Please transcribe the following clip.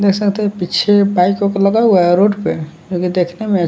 देख सकते हैं पीछे बाइक ओक लगा हुआ है रोड पे जो कि देखने में--